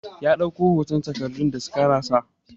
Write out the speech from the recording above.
Ya dauki hoton takardun da scanner sa.